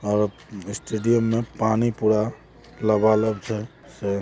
और स्टेडियम में पानी पूरा लबालब छे।